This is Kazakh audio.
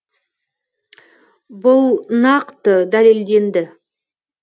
бұл нақты дәлелденді